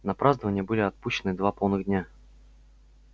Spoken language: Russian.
на празднования были отпущены два полных дня